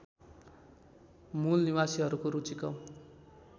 मूलनिवासीहरूको रुचि कम